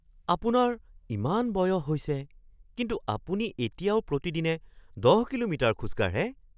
আপোনাৰ ইমান বয়স হৈছে কিন্তু আপুনি এতিয়াও প্ৰতিদিনে ১০ কিলোমিটাৰ খোজ কাঢ়ে?